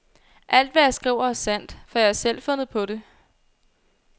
Alt, hvad jeg skriver, er sandt, for jeg har selv fundet på det.